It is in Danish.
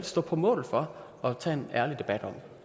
stå på mål for og tage en ærlig debat om